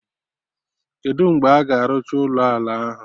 Kedụ mgbe a ga-arụcha ụlọ ala ahụ?